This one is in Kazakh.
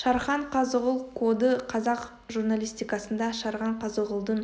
шархан қазығұл коды қазақ журналистикасында шархан қазығұлдің